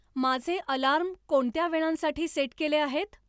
माझे अलार्म कोणत्या वेळांसाठी सेट केले आहेत